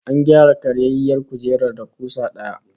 An gyara karyayyiyar kujerar da kusa daya